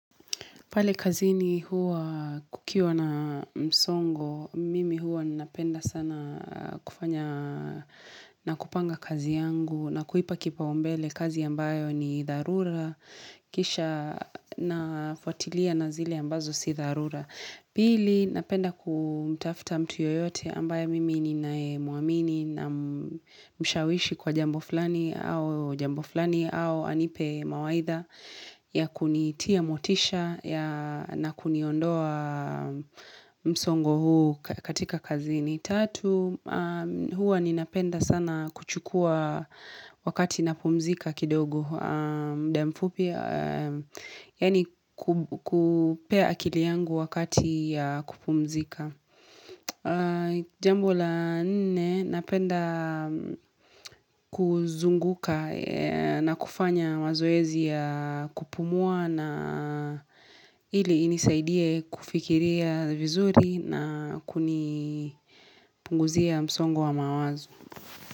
Pale kazini huwa kukiwa na msongo, mimi huwa napenda sana kufanya na kupanga kazi yangu na kuipa kipaumbele kazi ambayo ni dharura, kisha nafwatilia na zile ambazo si dharura. Pili, napenda kumtafta mtu yoyote ambaye mimi ninaemuamini na mshawishi kwa jambo fulani au jambo fulani au anipe mawaidha ya kunitia motisha na kuniondoa msongo huu katika kazini. Tatu, huwa ninapenda sana kuchukua wakati napumzika kidogo muda mfupi, yaani kupea akili yangu wakati ya kupumzika Jambo la nne, napenda kuzunguka na kufanya mazoezi ya kupumua na ili inisaidie kufikiria vizuri na kunipunguzia msongo wa mawazo.